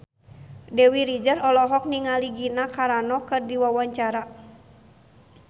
Dewi Rezer olohok ningali Gina Carano keur diwawancara